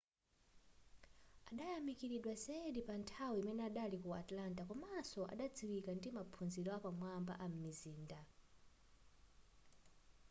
adayamikiridwa zedi panthawi imene adali ku atlanta komanso adadziwika ndi maphunziro apamwamba am'mizinda